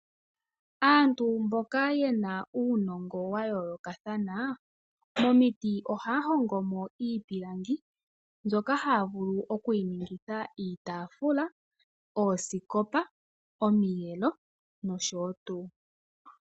Aantu mboka ye na uunongo wa yoolokathana momiti ohaya hongomo iipilangi mbyoka haya vulu okuyiningitha iitafula, oosikopa, omiyelo nosho tuu.